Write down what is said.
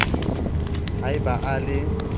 ha e ba a le